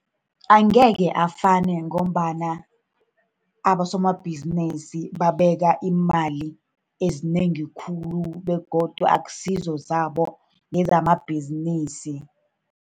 Angeke afane ngombana abosomabhizinisi babeka iimali ezinengi khulu, begodu akusizo zabo, ngezamabhizinisi.